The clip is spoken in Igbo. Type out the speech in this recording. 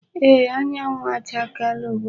Eee, anyanwụ chakeela ugbu a.